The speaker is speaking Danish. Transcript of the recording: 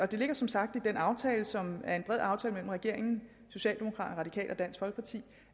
det ligger som sagt i den aftale som er en bred aftale mellem regeringen socialdemokraterne de og dansk folkeparti